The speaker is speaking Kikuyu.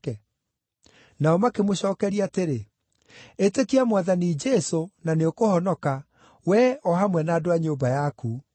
Nao makĩmũcookeria atĩrĩ, “Ĩtĩkia Mwathani Jesũ, na nĩũkũhonoka, wee, o hamwe na andũ a nyũmba yaku.”